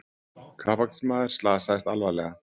Kappakstursmaður slasaðist alvarlega